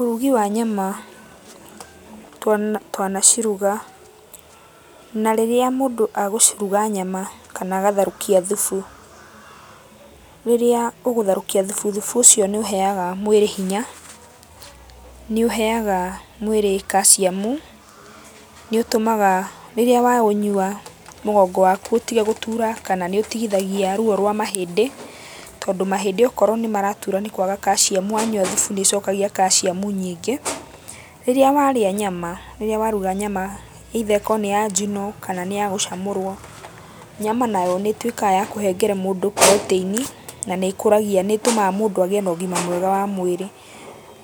Ũrugi wa nyama twanaciruga, na rĩrĩa mũndũ agũciruga nyama kana agatherũkia thubu. Rĩrĩa ũgũtherũkia thubu, thubu ũcio nĩũheaga mwĩrĩ hinya, nĩũheaga mwĩrĩ kaciamu, nĩũtũmaga rĩrĩa waũnyua mũgongo waku ũtige gũtura kana nĩũtigithagia ruo rwa mahĩndĩ, tondũ mahĩndĩ okorwo nĩmaratura nĩ kwaga kaciamu, wanyua thubu nĩũcokagia kaciamu nyingĩ. Rĩrĩa warĩa nyama rĩrĩa waruga nyama either ĩkorwo nĩ ya njino kana nĩyagũcamũrwo, nyama nayo nĩĩtuĩkaga ya kũhengere mũndũ protein i, na nĩkũragia, nĩtũmaga mũndũ agĩe na ũgima mwega wa mwĩrĩ.